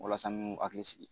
Walasa nu hakili sigi